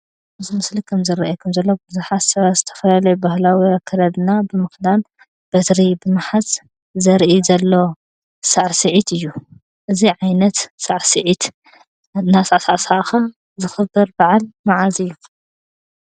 እዚ ምስሊ ከም ዝረኣየኩም ዘሎ ብዙሐት ሰባት ብዝተፈላለዩ ባህላዊ ኣከዳድና ብምኽዳን በትሪ ብምሓዝ ዘሪኢ ዘሎ ሳዕስዒት እዩ። እዙይ ዓይነት ሳዕስዒት እናተሳዕሳዕካ ዝኽበር ባዓል መዓዝ እዩ?